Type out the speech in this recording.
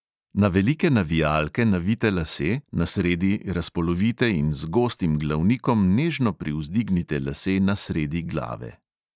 Na velike navijalke navijte lase, na sredi razpolovite in z gostim glavnikom nežno privzdignite lase na sredi glave.